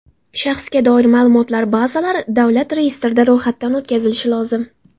Shaxsga doir ma’lumotlar bazalari davlat reyestrida ro‘yxatdan o‘tkazilishi lozim.